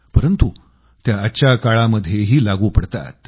परंतु त्या आजच्या काळामध्येही लागू पडतात